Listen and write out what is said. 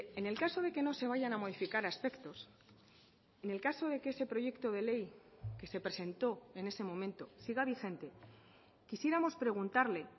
en el caso de que no se vayan a modificar aspectos en el caso de que ese proyecto de ley que se presentó en ese momento siga vigente quisiéramos preguntarle